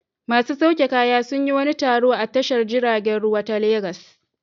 Masu sauke kaya sun yi wani taro a tashar jiragen ruwa ta Legas.